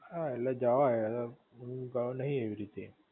હા ઍટલે જવાય હુ ગયો નહિ એવી રીતે